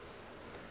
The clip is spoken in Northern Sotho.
ge e be e le